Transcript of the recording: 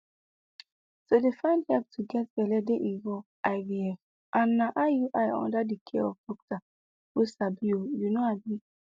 to dey find help to get belle dey involve ivf ana iui under the care of doctor wey sabi ohh you know abii